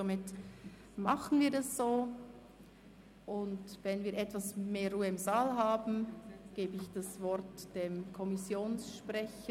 Somit gehen wir so vor, und wenn wir etwas mehr Ruhe im Saal haben, gebe ich das Wort dem Kommissionssprecher.